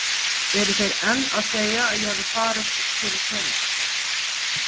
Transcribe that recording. Eru þeir enn að segja að ég hafi farið fyrir peninga?